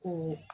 Ko